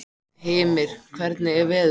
Hymir, hvernig er veðurspáin?